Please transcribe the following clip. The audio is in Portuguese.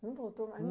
Não voltou mais?